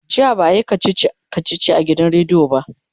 jiya ba'a Yi kachichi kachichi a gidan rediyo ba